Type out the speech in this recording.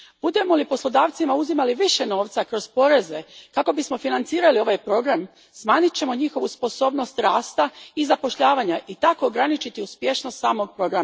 Budemo li poslodavcima uzimali više novca kroz poreze kako bismo financirali ovaj program, smanjit ćemo njihovu sposobnost rasta i zapošljavanja i tako ograničiti uspješnost samog programa.